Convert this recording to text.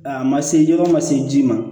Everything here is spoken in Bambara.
A ma se jɔyɔrɔ ma se ji ma